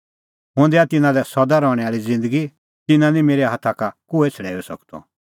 हुंह दैआ तिन्नां लै सदा रहणैं आल़ी ज़िन्दगी तिन्नां निं मेरै हाथा का कोहै छ़ड़ैऊई सकदअ